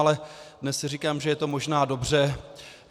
Ale dnes si říkám, že je to možná dobře.